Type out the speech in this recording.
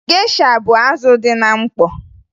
Gesha bụ azụ dị na mkpọ